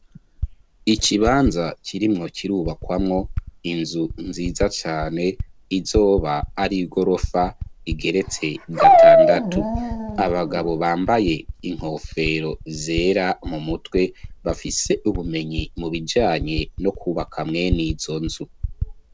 Ikibanza kirimwo kirubakwamwo inzu nziza cane izoba ari gorofa igeretse gatandatu abagabo bambaye inkofero zera mu mutwe bafise ubumenyi mu bijanye no kubaka mwene izo nzu.